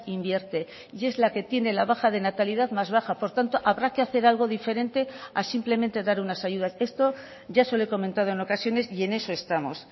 invierte y es la que tiene la baja de natalidad más baja por tanto habrá que hacer algo diferente a simplemente dar unas ayudas esto ya se lo he comentado en ocasiones y en eso estamos